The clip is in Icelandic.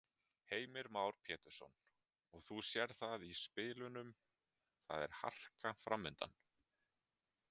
Heimir Már Pétursson: Og þú sérð það í spilunum, það er harka framundan?